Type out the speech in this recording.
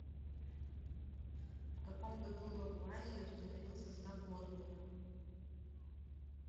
в каком году лавуазье установил состав воздуха